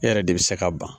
E yɛrɛ de bɛ se ka ban